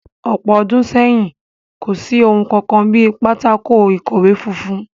Ní ọ̀pọ̀ ọdún sẹ́yìn, kò sí ohun kankan bí pátákó-ikọwe funfun